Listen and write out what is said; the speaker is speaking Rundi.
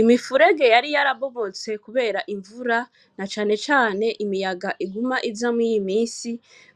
Imifurege yari yarabomotse kubera imvura, na cane cane imiyaga iguma iza muri iyi misi,